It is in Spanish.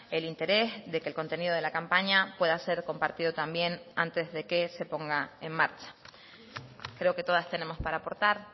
el interés de que el contenido de la campaña pueda ser compartido también antes de que se ponga en marcha creo que todas tenemos para aportar